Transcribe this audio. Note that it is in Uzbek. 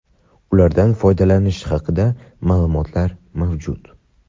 ulardan foydalanish haqida maʼlumotlar mavjud.